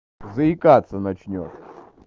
заикаться начнёшь